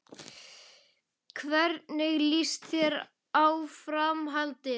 Hvernig líst þér á Framhaldið?